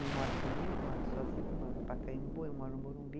Não mora comigo, mora sozinha, mora no Pacaembu, eu moro no Morumbi.